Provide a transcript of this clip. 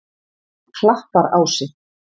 Klapparási